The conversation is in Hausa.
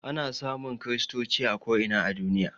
Ana samun kristoci a ko ina a duniya